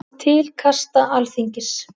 Til kasta Alþingis